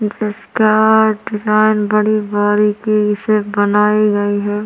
जिसका दुकान बड़ी बारीकी से बनाई गई हैं।